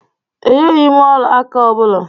E yeghim ọla aka ọ bụla.